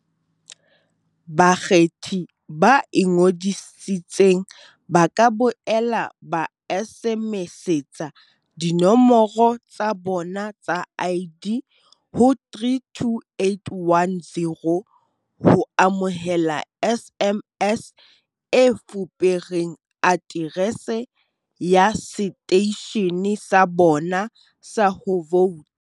Bakgethi ba ingodisitseng ba ka boela ba SMSetsa dinomoro tsa bona tsa ID ho 32810 ho amohela SMS e fupereng aterese ya seteishene sa bona sa ho vouta, SMS e ja R1.